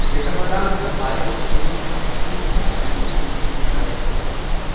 Catamaran تہٕ آیس بٹن چھِ اکھ وسیع جاے ییٚمہِ سۭتۍ تِم کھڑا چھِ ہیکان روزتھ۔